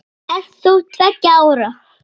Ert þú tveggja ára?